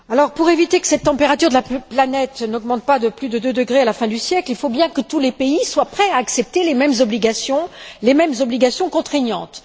Pour éviter que cette température de la planète augmente de plus de 2 degrés à la fin du siècle, il faut bien que tous les pays soient prêts à accepter les mêmes obligations, les mêmes obligations contraignantes.